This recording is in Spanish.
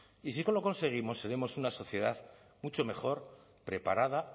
y si lo conseguimos seremos una sociedad mucho mejor preparada